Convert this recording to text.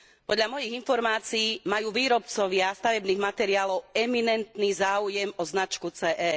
Podľa mojich informácií majú výrobcovia stavebných materiálov eminentný záujem o značku CE.